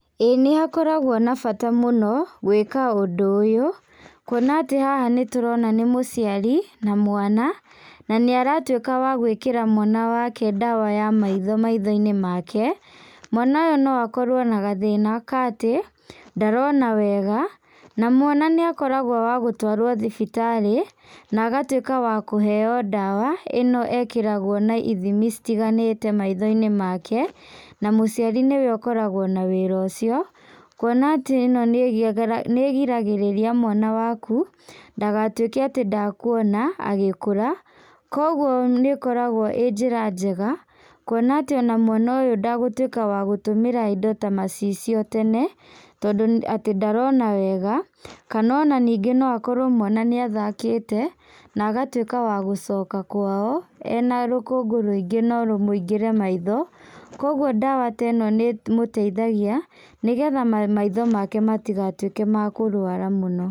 Ĩ nĩ hakoragwo na bata mũno gwĩka ũndũ ũyũ, kuona atĩ haha nĩtũrona nĩ mũciari na mwana na nĩ aratuĩka wa gwĩkĩra mwana wake ndawa ya maitho maitho-inĩ make. Mwana ũyũ no akorwo na gathĩna atĩ ndarona wega na mwana nĩ akoragwo wa gũtwarwo thibitarĩ na agatuĩka wa kũheo ndawa ĩ no ekĩragwo na ithimi citiganĩte maitho-inĩ make na mũciari nĩ we ũkoragwo na wĩra ũcio, kuona atĩ ĩno nĩgiragĩrĩria mwana waku ndagatuĩke atĩ ndakuona agĩkũra, kogwo nĩ ĩkoragwo ĩ njĩra njega kũona atĩ o na mwana ũyũ ndagũtuĩka wa gũtũmĩra indo ta macicio tene tondũ atĩ ndarona wega, kana ona ningĩ no akorwo mwana nĩathakĩte na agatuĩka wagũcoka kwao ena rũkũngũ rũingĩ no rũmũingĩre maitho koguo ndawa ta ĩno nĩmũteithagia nĩgetha maitho make matigatuĩke makũrwara mũno.